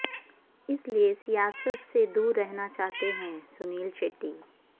اس لیے سیاست سے دور رہنا چاہتے ہیں سنیل شیٹی